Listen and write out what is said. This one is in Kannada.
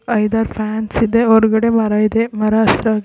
ಐದಾರ್ ಫ್ಯಾನ್ಸ್ ಇದೆ ಹೊರಗಡೆ ಮರ ಇದೆ ಮರ ಹಸಿರ--